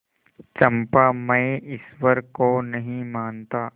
चंपा मैं ईश्वर को नहीं मानता